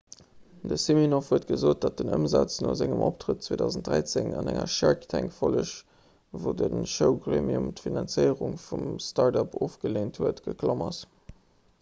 de siminoff huet gesot datt den ëmsaz no sengem optrëtt 2013 an enger 'shark tank'-folleg wou de showgremium d'finanzéierung vum startup ofgeleent huet geklomm ass